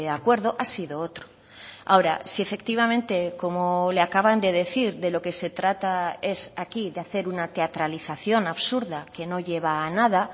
acuerdo ha sido otro ahora si efectivamente como le acaban de decir de lo que se trata es aquí de hacer una teatralización absurda que no lleva a nada